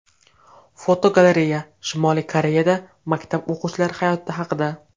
Fotogalereya: Shimoliy Koreyada maktab o‘quvchilari hayoti haqida.